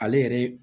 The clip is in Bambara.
Ale yɛrɛ